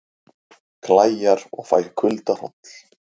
Klæjar og fæ kuldahroll